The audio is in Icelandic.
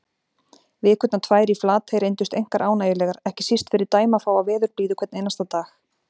Vikurnar tvær í Flatey reyndust einkar ánægjulegar, ekki síst fyrir dæmafáa veðurblíðu hvern einasta dag.